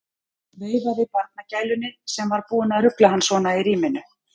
Veifaði barnagælunni sem var búin að rugla hann svona í ríminu.